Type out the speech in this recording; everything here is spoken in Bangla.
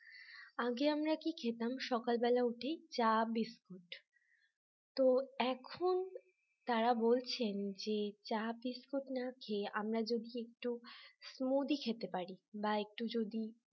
আগে আমরা কি খেতাম সকালবেলা উঠেই চা বিস্কুট তো এখন তারা বলছেন যে চা বিস্কুট না খেয়ে আমরা যদি একটু মুড়ি খেতে পারি বা একটু যদি